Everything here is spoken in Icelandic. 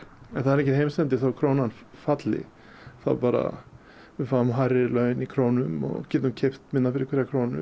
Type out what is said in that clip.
er enginn heimsendir þó krónan falli þá bara við fáum hærri laun í krónum og getum keypt minna fyrir hverja krónu